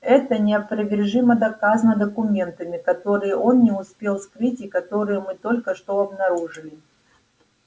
это неопровержимо доказано документами которые он не успел скрыть и которые мы только что обнаружили